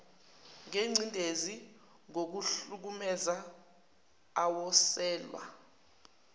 ngencindezi ngokuhlukumeza awoselwa